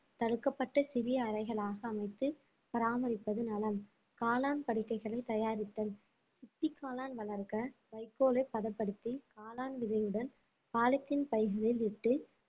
தடுக்கப்பட்ட சிறிய அறைகளாக அமைத்து பராமரிப்பது நலம் காளான் படுக்கைகளை தயாரித்தல் சிப்பிக் காளான் வளர்க்க வைக்கோலை பதப்படுத்தி காளான் விதையுடன் பாலித்தீன் பைகளில் இட்டு